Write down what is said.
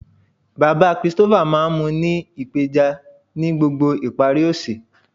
Baba Christopher maa n mu u ni ipeja ni gbogbo ipari ose.